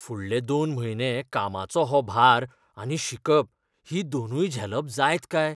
फुडले दोन म्हयने कामाचो हो भार आनी शिकप हीं दोनूय झेलप जायत काय?